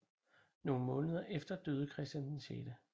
Nogle måneder efter døde Christian 6